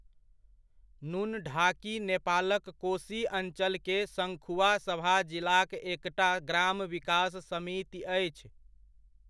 नुनढाकी नेपालक कोशी अञ्चलके सङ्खुवासभा जिलाक एकटा ग्राम विकास समिति अछि।